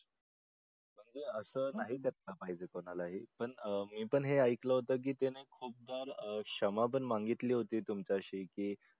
असं नाही केलं पाहिजे कोणालाही पण अह मी पण हे ऐकलं होतं छान आपण मागितली होती तुमच्याशी की